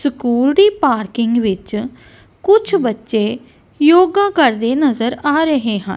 School ਦੀ parking ਵਿੱਚ ਕੁਝ ਬੱਚੇ ਯੋਗਾ ਕਰਦੇ ਨਜ਼ਰ ਆ ਰਹੇ ਹਾਂ।